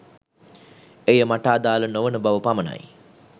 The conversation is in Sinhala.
එය මට අදාල නොවන බව පමණයි